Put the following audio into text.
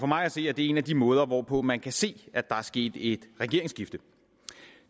mig at se er det en af de måder hvorpå man kan se at der er sket et regeringsskifte